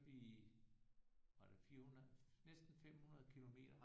Vi var det 400 næsten 500 kilometer